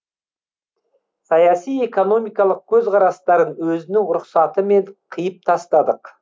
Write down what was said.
саяси экономикалық көзқарастарын өзінің рұқсатымен қиып тастадық